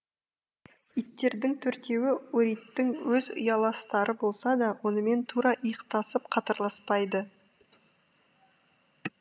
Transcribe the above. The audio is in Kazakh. иттердің төртеуі ориттің өз ұяластары болса да онымен тура иықтасып қатарласпайды